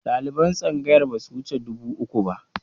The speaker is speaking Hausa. Ɗaliban tsangayar ba su wuce dubu uku ba